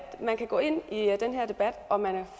man kan gå ind i den her debat og at man er